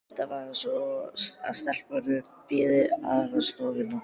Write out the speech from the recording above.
Reyndar var það svo að stelpunnar biðu aðrar stofnanir.